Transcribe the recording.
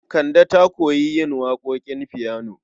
Kande ta koyi yin waƙoƙin fiyano.